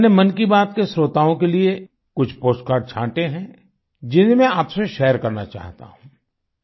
मैंने मन की बात के श्रोताओं के लिए कुछ पोस्टकार्ड छांटे हैं जिन्हें मैं आपसे शेयर करना चाहता हूँ